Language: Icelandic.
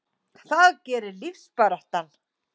Það gerir lífsbaráttan.